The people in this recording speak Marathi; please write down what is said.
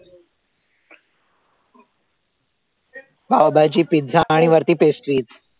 पावभाजी, पिझ्झा आणि वरती pastries